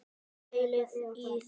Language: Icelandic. Pælið í því!